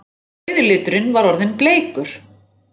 Rauði liturinn var orðinn bleikur!